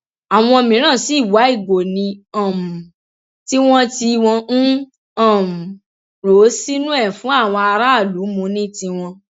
àwọn mìíràn sì wá ìgò ní um tiwọn tí wọn ń um rò ó sínú ẹ fún àwọn aráàlú mú ní tiwọn